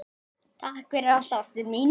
Takk fyrir allt, ástin mín.